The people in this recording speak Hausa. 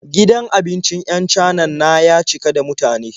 Gidan abincin 'yan Canan na ya cika da mutane.